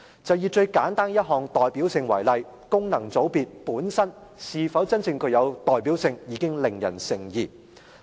就以最簡單一項代表性為例，功能界別本身是否真正具有代表性已令人成疑。